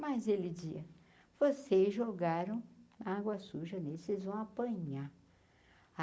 Mas ele dizia, vocês jogaram na água suja, nesses vão apanhar.